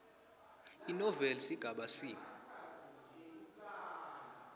inoveli sigaba c